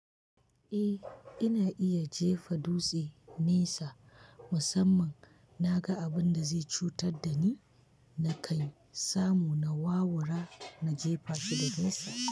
Eh, ina iya jefa dutse nesa musamman na ga abun da zai cutar da ni, na kai samu na wawura na jefa shi da nesa.